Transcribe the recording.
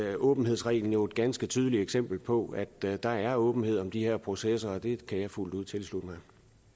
at åbenhedsreglen jo er et ganske tydeligt eksempel på at der der er åbenhed om de her processer og det kan jeg fuldt ud tilslutte mig